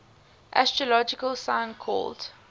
astrological sign called